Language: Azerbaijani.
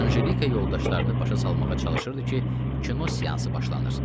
Anjelika yoldaşlarını başa salmağa çalışırdı ki, kino seansı başlanır.